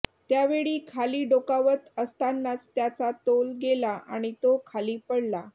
त्यावेळी खाली डोकावत असतानाच त्याचा तोल गेला आणि तो खाली पडला